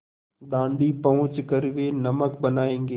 दाँडी पहुँच कर वे नमक बनायेंगे